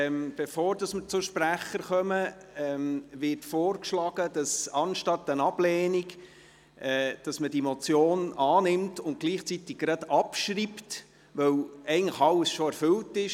Bevor wir zu den Sprechern kommen, wird vorgeschlagen, diese Motion anstatt einer Ablehnung anzunehmen und sie gerade gleichzeitig abzuschreiben, weil eigentlich schon alles erfüllt ist.